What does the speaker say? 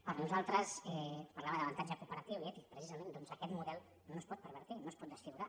per nosaltres parlava d’avantatge cooperatiu i ètic precisament doncs aquest model no es pot pervertir no es pot desfigurar